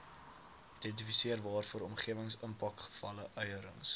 identifiseer waarvoor omgewingsimpakevaluerings